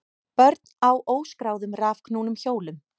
Börn á óskráðum rafknúnum hjólum